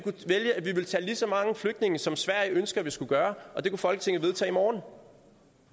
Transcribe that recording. ville tage lige så mange flygtninge som sverige ønsker at vi skal gøre og det kunne folketinget vedtage i morgen